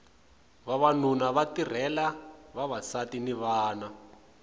vavanuna va tirhela vavasati ni vana